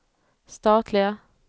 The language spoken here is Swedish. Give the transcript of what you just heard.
statliga